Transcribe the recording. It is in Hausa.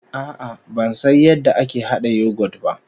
A'a ban san yadda ake hada yoghurt ba